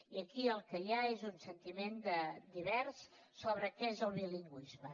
i aquí el que hi ha és un sentiment divers sobre què és el bilingüisme